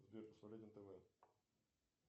сбер посмотреть нтв